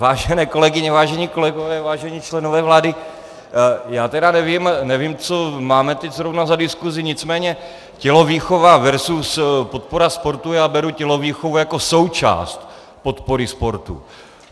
Vážené kolegyně, vážení kolegové, vážení členové vlády, já tedy nevím, co máme teď zrovna za diskusi, nicméně tělovýchova versus podpora sportu, já beru tělovýchovu jako součást podpory sportu.